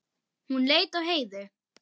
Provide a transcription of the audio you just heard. Hún leit á Heiðu.